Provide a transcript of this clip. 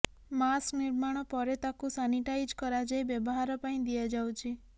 mask ନିର୍ମାଣ ପରେ ତାକୁ ସାନିଟାଇଜ କରାଯାଇ ବ୍ୟବହାର ପାଇଁ ଦିଆଯାଉଛି